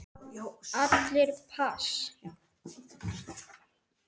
Allir pass.